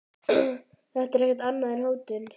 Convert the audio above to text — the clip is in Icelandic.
Þetta er ekkert annað en hótun.